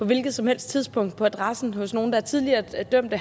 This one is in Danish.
hvilket som helst tidspunkt på adressen hos nogle der tidligere er dømte